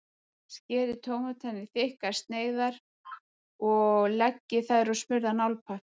Skerið tómatana í þykkar sneiðar og leggið þær á smurðan álpappír.